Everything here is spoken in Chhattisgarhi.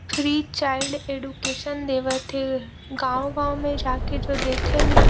फ्री चाइल्ड एडुकेशन देवत हे गाँव- गाँव में जाके जो देथे नइ --